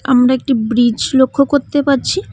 আমরা একটি ব্রিজ লক্ষ কত্তে পাচ্ছি।